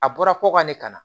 A bɔra ko ka ne ka na